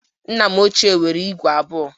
Nna m ochie nwere igwe abụọ.